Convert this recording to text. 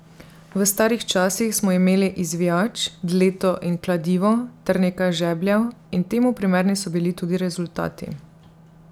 V starih časih smo imeli izvijač, dleto in kladivo ter nekaj žebljev in temu primerni so bili tudi rezultati.